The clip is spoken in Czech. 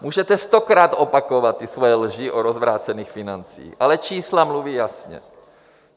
Můžete stokrát opakovat ty své lži o rozvrácených financích, ale čísla mluví jasně.